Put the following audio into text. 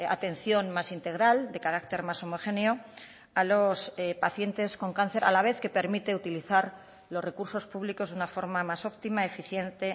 atención más integral de carácter más homogéneo a los pacientes con cáncer a la vez que permite utilizar los recursos públicos de una forma más óptima eficiente